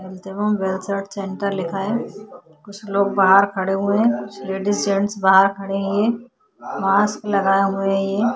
Health एवं centre लिखा हुआ है। कुछ लोग बाहर खड़े हुए हैं। कुछ लेडीज जेंट्स बाहर खड़े हे । मास्क लगाए हुए हे ।